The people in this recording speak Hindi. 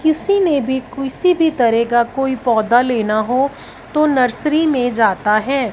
किसी ने भी क्यूसी भी तरह का कोई पौधा लेना हो तो नर्सरी में जाता है।